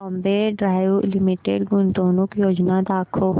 Bombay dyeing limited गुंतवणूक योजना दाखव